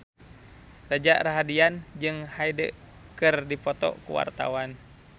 Reza Rahardian jeung Hyde keur dipoto ku wartawan